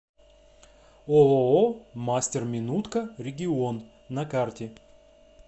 ооо мастер минутка регион на карте